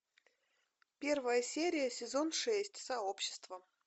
первая серия сезон шесть сообщество